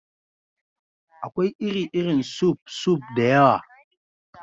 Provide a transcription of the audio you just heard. Akwai iri-irin suf (soup) da yawa.